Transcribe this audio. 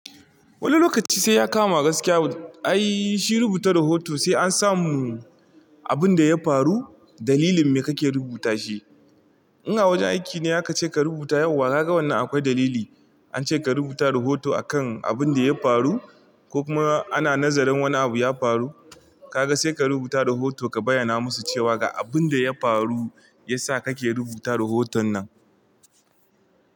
Wani lokaci sai ya kama gaskiya. Ai shi rubuta rahoto sai an samu abun da ya faru, dalilin me kake rubuta shi. In a wajen aiki ne aka ce ka rubuta yau, wa ka ga wannan akwai dalili. An ce ka rubuta rahoto akan abun da ya faru ko kuma ana nazarin wani abu ya faru, ka ga sai ka rubuta rahoto ka bayyana musu cewa ga abun da ya faru ya sa kake rubuta rahoton nan.